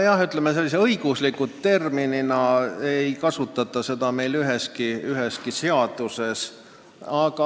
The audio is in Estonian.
Jah, õigusterminina ei kasutata seda meil üheski seaduses.